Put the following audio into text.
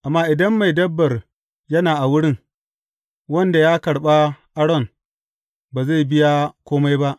Amma idan mai dabbar yana a wurin, wanda ya karɓa aron, ba zai biya kome ba.